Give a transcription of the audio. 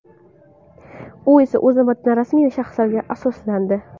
U esa, o‘z navbatida rasmiy shaxslarga asoslandi.